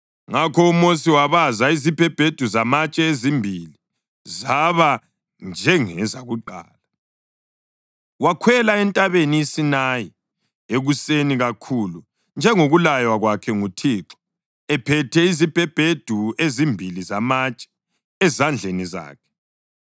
Ngakho uMosi wabaza izibhebhedu zamatshe ezimbili zaba njengezakuqala, wakhwela entabeni iSinayi ekuseni kakhulu njengokulaywa kwakhe nguThixo ephethe izibhebhedu ezimbili zamatshe ezandleni zakhe.